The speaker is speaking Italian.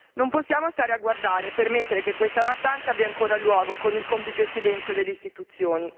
Non possiamo stare a guardare e permettere che questa mattanza abbia ancora luogo con il complice silenzio delle istituzioni.